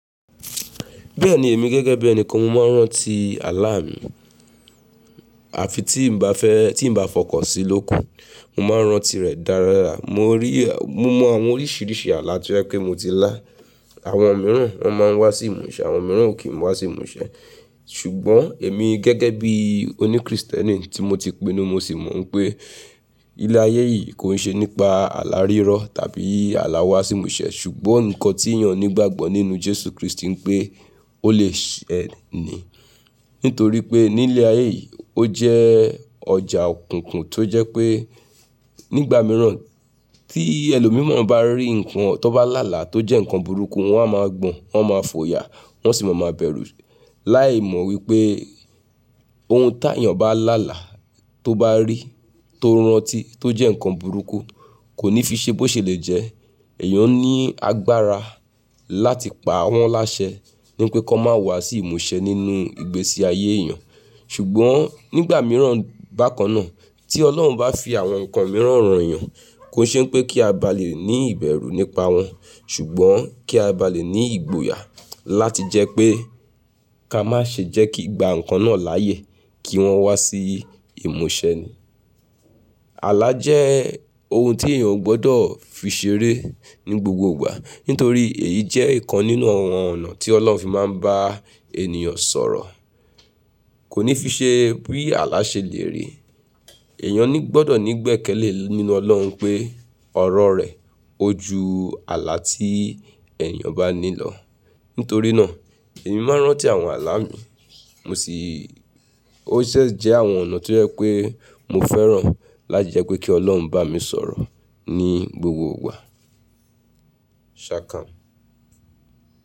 Bẹ́ẹ̀ni èmi gẹ́gẹ́ bí ẹni kan mo máa ń rántí àlá mi. Àfi tí n bá fẹ́, tí n bá fọkàn sí lóku, mo máa ń rántí rẹ̀ dáradára. Mo rí, mo mọ àwọn oríṣiríṣi àlá tí ó jẹ́ pé mo ti lá. Àwọn mìíràn wọ́n máa ń wá sí ìmúṣẹ, àwọn mìíràn o kí n wá sí ìmúṣẹ. Ṣùgbọ́n èmi gẹ́gẹ́ bí oní Kristẹni tí mo ti pinnu, mo sì mọ̀ pé ilé ayé yìí kò ṣe nípa àlá rírọ̀ tàbí àlá wá sí ìmúṣẹ. Ṣùgbọ́n nǹkan tí èèyàn ní ìgbàgbọ́ nínú Jésù Kristi pé ó lè ṣẹ ní. Nítorí pé ní ilé ayé yìí ó jẹ́ ọjà òkùnkùn tó jẹ́ pé nígbà mìíràn tí ẹlòmíràn bá rí nǹkan tó bá là láàlá tó jẹ́ nǹkan burúkú, wọ́n a máa gbọ̀n, wọ́n máa fòyà, wọ́n sì máa máa bẹ̀rù láì mọ̀ wípé ohun tá èèyàn bá là láàlá tó bá rí, tó ń rántí, tó jẹ́ nǹkan burúkú kò ní fi ṣe bó ṣe lè jẹ́. Ẹ̀yàn ní agbára láti pa wọ́n láṣẹ ní pé kọ́ má wá sí ìmúṣẹ nínú ìgbésí ayé èèyàn. Ṣùgbọ́n nígbà mìíràn bákan náà tí Ọlọ́run bá fi àwọn nǹkan mìíràn hàn èèyàn, kò ṣe pé kí a bá lè ní ìbẹ̀rù nípa wọn. Ṣùgbọ́n kí a bá lè ní ìgboyà láti jẹ́ pé ká má ṣe jẹ́ kí gba nǹkan náà láàyè kí wọ́n wá sí ìmúṣẹ ni. Àlá jẹ́ ohun tí èèyàn gbọ́dọ̀ fi ṣeré ní gbogbo ìgbà. Nítorí èyí jẹ́ nǹkan nínú àwọn ọ̀nà tí Ọlọ́run fi máa ń bá ènìyàn sọ̀rọ̀. Kò ní fi ṣe pé àlá ṣe lè rèé. Ẹ̀yàn gbọ́dọ̀ ní gbẹ̀kẹ́lé nínú Ọlọ́run pé ọ̀rọ̀ rẹ̀ ó ju àlá tí èèyàn bá ní lọ. Nítorí náà èmi máa ń rántí àwọn àlá mi. Mo sì-- ó ṣẹ̀ jẹ́ àwọn ọ̀nà tí ó jẹ́ pé mo fẹ́ràn láti jẹ́ pé kí Ọlọ́run bá mi sọ̀rọ̀ ní gbogbo ìgbà. Ṣà kám.